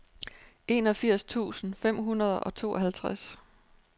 enogfirs tusind fem hundrede og tooghalvtreds